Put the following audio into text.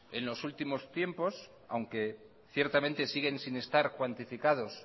en los últimos tiempos aunque ciertamente siguen sin estar cuantificados